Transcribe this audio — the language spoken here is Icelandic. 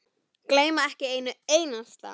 Gleyma ekki einu einasta.